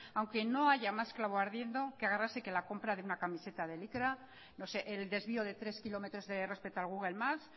aunque no haya más clavo ardiendo que agarrarse a la compra de una camiseta de licra no sé el desvió de tres kilómetros respeto al google maps